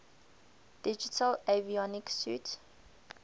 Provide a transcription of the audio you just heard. digital avionics suite